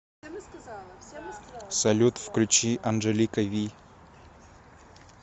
салют включи анджелика ви